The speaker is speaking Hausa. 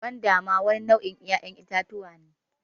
Gwanda ma wani nau' in 'ya'yan itatuwa ne.